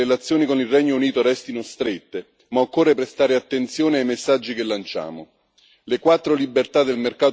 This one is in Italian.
Sì, l'auspicio è che le relazioni con il Regno Unito restino strette, ma occorre prestare attenzione ai messaggi che lanciamo.